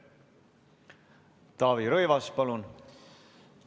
Taavi Rõivas, palun!